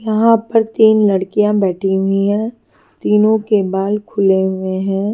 यहाँ पर तीन लड़कियाँ बेठी हुई है तीनो के बाल खुले हुए है।